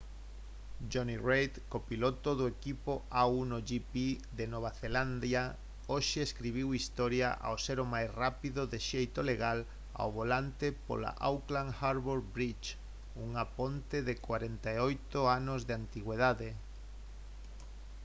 jonny reid copiloto do equipo a1gp de nova zelandia hoxe escribiu historia ao ser o máis rápido de xeito legal ao volante pola auckland harbour bridge unha ponte de 48 anos de antigüidade